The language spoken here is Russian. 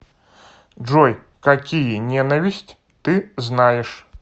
джой какие ненависть ты знаешь